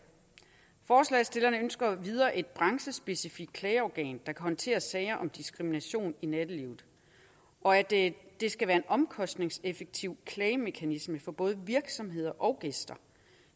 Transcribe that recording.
forslagsstillerne ønsker endvidere et branchespecifikt klageorgan der håndtere sager om diskrimination i nattelivet og at at det skal være en omkostningseffektiv klagemekanisme for både virksomheder og gæster